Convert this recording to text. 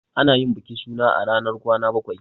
Ana yin bikin suna a ranar kwana bakwai.